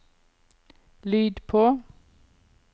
lyd på